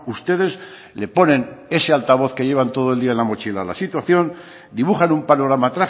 ustedes le ponen ese altavoz que llevan todo el día en la mochila a la situación dibujan un panorama